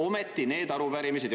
Ometi need arupärimised.